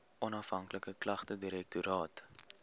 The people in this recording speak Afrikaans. onafhanklike klagtedirektoraat